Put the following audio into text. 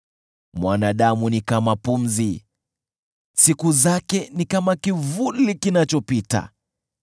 Mwanadamu ni kama pumzi, siku zake ni kama kivuli kinachopita.